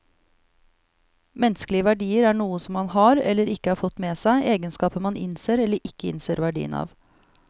Menneskelige verdier er noe som man har, eller ikke har fått med seg, egenskaper man innser eller ikke innser verdien av.